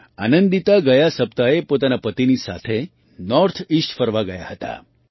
આનંદિતા ગયા સપ્તાહે પોતાના પતિની સાથે નૉર્થ ઇસ્ટ ફરવા ગયાં હતાં